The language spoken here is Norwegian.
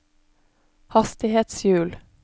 hastighetshjul